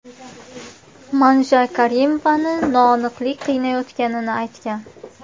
Manja Karimovani noaniqlik qiynayotganini aytgan.